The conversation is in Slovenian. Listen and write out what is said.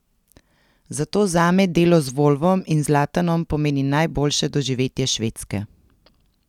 Zato zame delo z Volvom in Zlatanom pomeni najboljše doživetje Švedske.